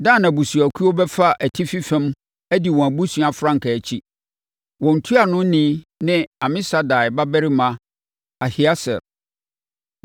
Dan abusuakuo bɛfa atifi fam adi wɔn abusua frankaa akyi. Wɔn ntuanoni ne Amisadai babarima Ahieser.